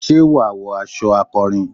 ṣé wà wọ aṣọ akọrin?